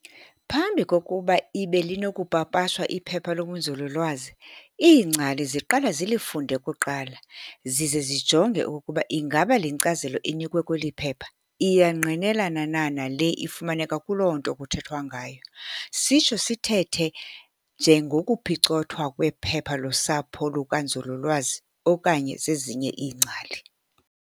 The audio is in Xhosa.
Phambi kokuba ibe linokupapashwa iphepha lobunzululwazi, iingcali ziqala zilifunde kuqala, zize zijonge okokuba ingaba le nkcazelo enikwe kweli phepha iyangqinelana na nale ifumaneka kuloo nto kuthethwa ngayo. sitsho sithethe ngengokuphicothwa kwephepha lusapho lukanzululwazi okanye zezinye iingcali.